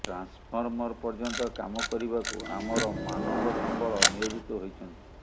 transformer ପର୍ଯ୍ୟନ୍ତ କାମ କରିବାକୁ ଆମର ମାନବ ସମ୍ବଳ ନିୟୋଜିତ ହୋଇଛନ୍ତି